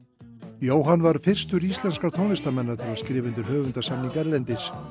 Jóhann varð fyrstur íslenskra tónlistarmanna til að skrifa undir höfundasamning erlendis